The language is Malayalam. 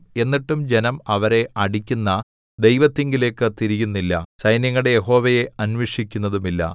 എന്നിട്ടും ജനം അവരെ അടിക്കുന്ന ദൈവത്തിങ്കലേക്ക് തിരിയുന്നില്ല സൈന്യങ്ങളുടെ യഹോവയെ അന്വേഷിക്കുന്നതുമില്ല